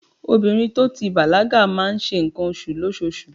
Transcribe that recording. Obìnrin to ti bàlágà máa ń ṣe ǹkan oṣù lóṣoṣù.